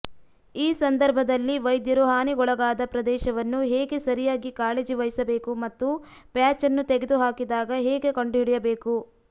ಈ ಸಂದರ್ಭದಲ್ಲಿ ವೈದ್ಯರು ಹಾನಿಗೊಳಗಾದ ಪ್ರದೇಶವನ್ನು ಹೇಗೆ ಸರಿಯಾಗಿ ಕಾಳಜಿ ವಹಿಸಬೇಕು ಮತ್ತು ಪ್ಯಾಚ್ ಅನ್ನು ತೆಗೆದುಹಾಕಿದಾಗ ಹೇಗೆ ಕಂಡುಹಿಡಿಯಬೇಕು